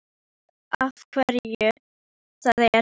Hann veit af hverju það er.